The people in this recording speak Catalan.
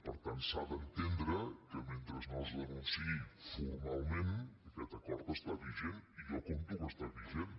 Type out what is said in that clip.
per tant s’ha d’entendre que mentre no es denunciï formalment aquest acord està vigent i jo compto que està vigent